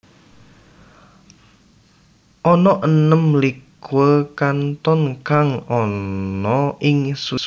Ana enem likur kanton kang ana ing Swiss